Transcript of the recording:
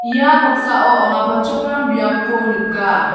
ia noksao anga palchakram biapko nika.